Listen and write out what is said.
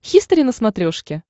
хистори на смотрешке